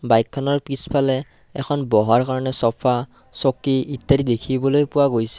বাইকখনৰ পিছফালে এখন বহাৰ কাৰণে চফা চকী ইত্যাদি দেখিবলৈ পোৱা গৈছে।